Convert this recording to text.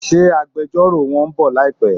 Ṣé agbẹjọ́rò won ń bọ̀ láìpé?